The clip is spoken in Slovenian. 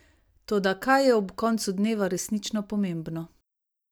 Toda kaj je ob koncu dneva resnično pomembno?